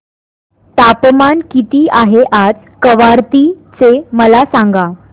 तापमान किती आहे आज कवारत्ती चे मला सांगा